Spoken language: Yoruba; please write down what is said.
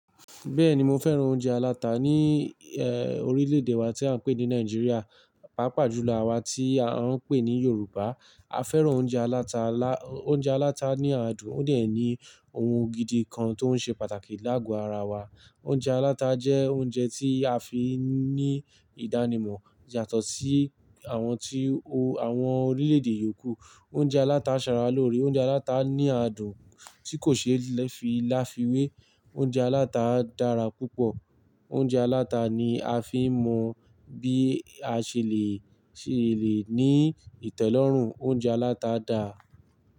Bẹ́ẹ̀ni mo fẹ́ràn oúnjẹ aláta ní eh orílè èdè wa tí à ń pè ní Nàìjíríà, pàápàá jù lọ àwa tí à ń pè ní Yorùbá. A fẹ́ràn oúnjẹ aláta lá, oúnjẹ aláta ní adùn ó dì ẹ́ ni oun gidi kan tó ń ṣe pàtàkì láàgò ara wa. Oúnjẹ aláta jẹ́ oúnjẹ tí a fi ń ní ìdánimọ̀ yàtọ̀ sí àwọn tí o àwọn orílè èdè yòókù. Oúnjẹ aláta ṣara loore, oúnjẹ aláta ní adùn tí kò ṣe fi láfiwé. Oúnjẹ aláta dára púpọ̀. Oúnjẹ aláta ni a fi ń mọ bí a ṣe le ṣe le ní ìtẹ́lọ́rùn. Oúnjẹ aláta dà?